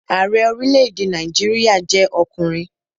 Ààrẹ orílẹ̀-èdè Nàìjíríà jẹ́ ọkùnrin